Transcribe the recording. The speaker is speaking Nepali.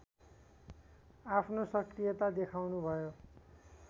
आफ्नो सक्रियता देखाउनुभयो